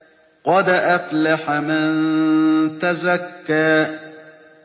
قَدْ أَفْلَحَ مَن تَزَكَّىٰ